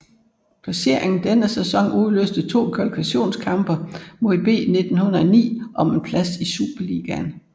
Placeringen denne sæson udløste to kvalifikationskampe mod B1909 om en plads i Superligaen